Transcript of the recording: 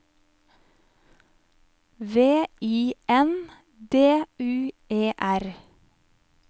V I N D U E R